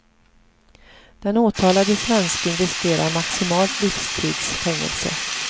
Den åtalade svensken riskerar maximalt livstids fängelse.